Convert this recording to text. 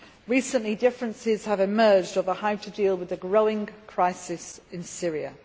Recently, differences have emerged about how to deal with the growing crisis in Syria.